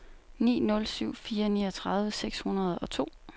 ni nul syv fire niogtredive seks hundrede og to